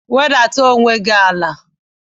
Wedata onwe gị ala!